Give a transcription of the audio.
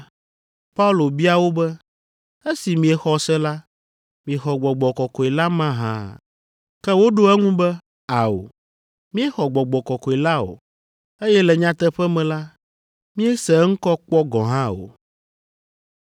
Paulo bia wo be, “Esi miexɔ se la, miexɔ Gbɔgbɔ Kɔkɔe la mahã?” Ke woɖo eŋu be, “Ao, míexɔ Gbɔgbɔ Kɔkɔe la o, eye le nyateƒe me la, míese eŋkɔ kpɔ gɔ̃ hã o.”